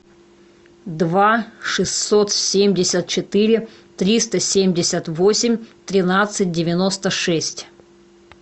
два шестьсот семьдесят четыре триста семьдесят восемь тринадцать девяносто шесть